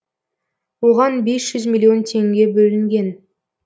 оған бес жүз миллион теңге бөлінген